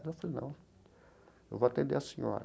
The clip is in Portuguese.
falei, não, eu vou atender a senhora.